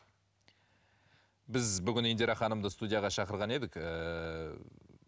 біз бүгін индира ханымды студияға шақырған едік ііі